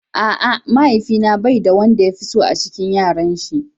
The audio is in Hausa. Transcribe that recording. A'a, mahaifi na bai da yanda ya fi so a cikin Yaran shi.